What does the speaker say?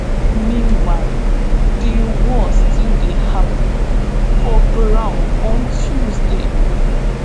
meanwhile di war still dey happun for ground on tuesday.